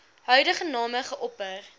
huidige name geopper